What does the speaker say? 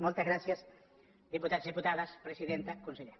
moltes gràcies diputats diputades presidenta conseller